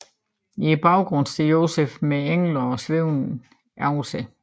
I baggrunden står Josef med engle svævende over sig